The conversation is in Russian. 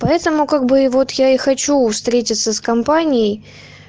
поэтому как бы и вот я и хочу встретиться с компанией